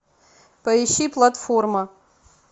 поищи платформа